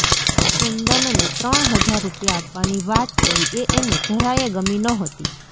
કુંદનને ત્રણ હજાર રૂપિયા આપવાની વાત કરી એ એને જરાયે ગમી નહોતી